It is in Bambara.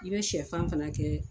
I bɛ sɛfan fana kɛ